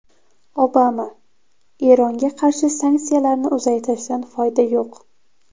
Obama: Eronga qarshi sanksiyalarni uzaytirishdan foyda yo‘q.